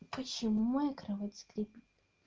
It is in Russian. почему моя кровать скрипит